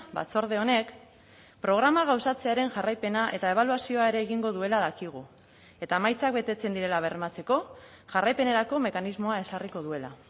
batzorde honek programa gauzatzearen jarraipena eta ebaluazioa ere egingo duela dakigu eta emaitzak betetzen direla bermatzeko jarraipenerako mekanismoa ezarriko duela